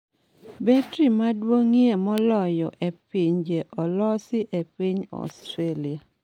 Betri maduong'ie moloyo e pinyne olosi e piny Ostralia